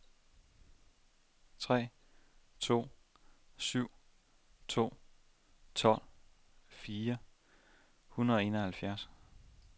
tre to syv to tolv fire hundrede og enoghalvfjerds